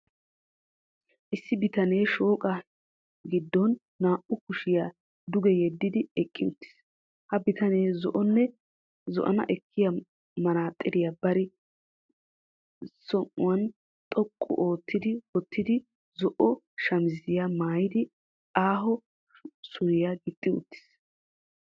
Issi bitanee shooqa hiddon naa''u kushiya duge yeddidi eqqi uttiis. Ha bitanee zo'ana ekkiya manaaxxiriya bari sinyyan xoqqu ootti wottidi zo'o shamiziya maayidi aaho suriya gixxi uttiis.